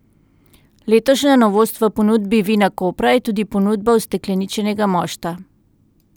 Letošnja novost v ponudbi Vinakopra je tudi ponudba ustekleničenega mošta.